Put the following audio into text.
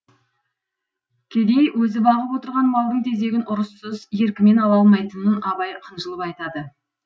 кедей өзі бағып отырған малдың тезегін ұрыссыз еркімен ала алмайтынын абай қынжылып айтады